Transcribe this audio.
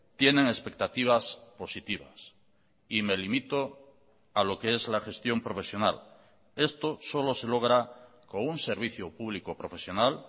tienen expectativas positivas y me limito a lo que es la gestión profesional esto solo se logra con un servicio público profesional